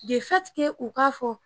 u ka fɔ